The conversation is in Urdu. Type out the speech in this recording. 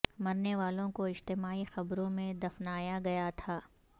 مرنے والوں کو اجتماعی قبروں میں دفنایا گیا تھا